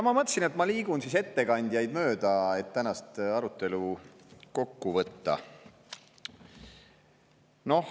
Ma mõtlesin, et ma liigun ettekandjate mööda, et tänast arutelu kokku võtta.